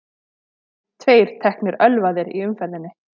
Tveir teknir ölvaðir í umferðinni